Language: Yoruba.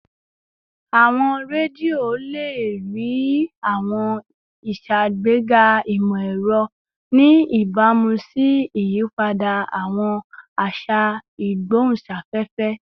Awọn redio le rii awọn iṣagbega imọ-ẹrọ, ni ibamu si iyipada awọn aṣa igbohunsafefe